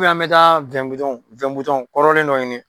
Ubiyɛn an bi taa wɛn bidɔnw wɛn bidɔn kɔrɔlen dɔ ɲini